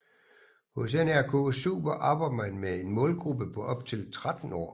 Hos NRK Super arbejder man med en målgruppe på op til 13 år